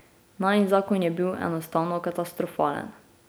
Najin zakon je bil enostavno katastrofalen.